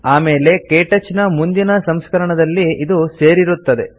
ಆಮೇಲೆ ಕೇಟಚ್ ನ ಮುಂದಿನ ಸಂಸ್ಕರಣದಲ್ಲಿ ಇದು ಸೇರಿರುತ್ತದೆ